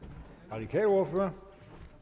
radikal ordfører